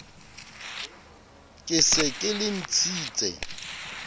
ke se ke le ntshitse